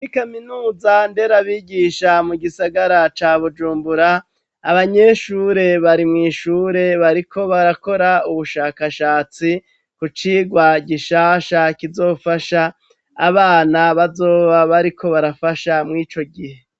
Kuri kaminuza nderabigisha mu gisagara ca Bujumbura, abanyeshure bari mw'ishure, bariko barakora ubushakashatsi, kucigwa gishasha kizofasha abana bazoba bariko barafasha mur'ico gihe.